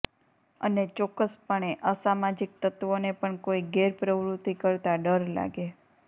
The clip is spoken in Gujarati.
અને ચોક્કસ પણે અસામાજીક તત્વોને પણ કોઇ ગેરપ્રવૃતિ કરતા ડર લાગે